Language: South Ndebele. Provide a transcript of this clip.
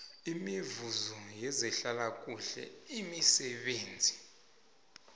imivuzo yezehlalakuhle imisebenzi